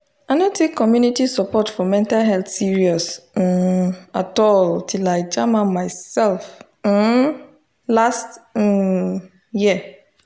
i no take community support for mental health serious um at all till i jam am myself um last um year